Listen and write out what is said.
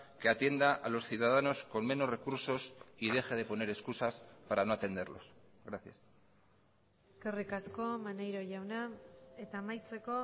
que atienda a los ciudadanos con menos recursos y deje de poner excusas para no atenderlos gracias eskerrik asko maneiro jauna eta amaitzeko